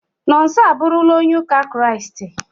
Nonso abụrụla onye ụka kiriasti